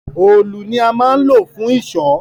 òòlù ni a máa ń lò fún ìṣọ́